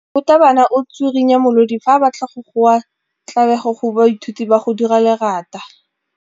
Morutwabana o tswirinya molodi fa a batla go goa tlabego go baithuti ba go dira lerata.